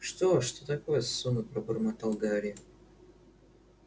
что что такое сонно пробормотал гарри